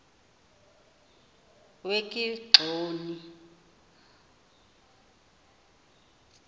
wekigxoni